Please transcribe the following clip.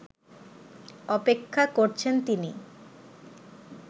অপেক্ষা করছেন তিনি